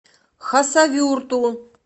хасавюрту